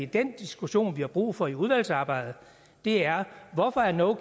den diskussion vi har brug for i udvalgsarbejdet er hvorfor no